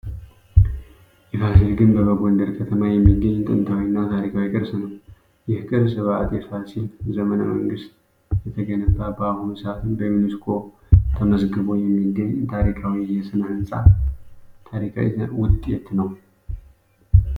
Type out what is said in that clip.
የፋሲል ግንብ በጎንደር ከተማ የሚገኝ ጥንታዊ እና ታሪካዊ ቅርስ ነው። ይህ ቅርስ በአጤ ፋሲል ዘመነ መንግስት የተገነባ በአሁኑ ሰአትም በዩኒስኮ ተመዝግቦ የሚገኝ ታሪካዊ የስነ-ህንፃ ውጤት ነው።